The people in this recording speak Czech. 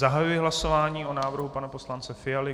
Zahajuji hlasování o návrhu pana poslance Fialy.